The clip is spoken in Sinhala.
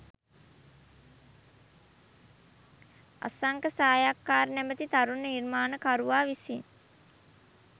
අසංක සායක්කාර නමැති තරුණ නිර්මාණකරුවා විසින්